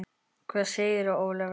Hvað segir Ólafur?